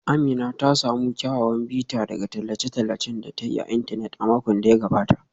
Amina ta samu kyawawan bita daga tallace-tallacen da ta yi a intanet a makon da ya gabata.